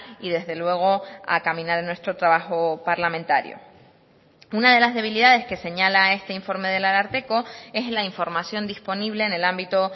y desde luego a caminar en nuestro trabajo parlamentario una de las debilidades que señala este informe del ararteko es la información disponible en el ámbito